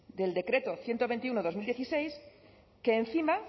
del decreto ciento veintiuno barra dos mil dieciséis que encima